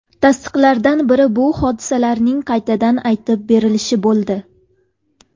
Tasdiqlardan biri bu hodisalarning qaytadan aytib berilishi bo‘ldi.